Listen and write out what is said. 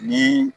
Ni